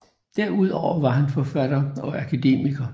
Derudover var han forfatter og akademiker